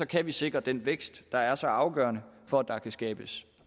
kan vi sikre den vækst der er så afgørende for at der kan skabes